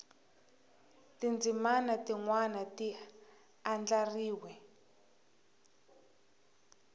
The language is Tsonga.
tindzimana tin wana ti andlariwe